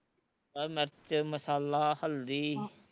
ਆਹ ਮਿਰਚ ਮਸਾਲਾ ਹਲਦੀ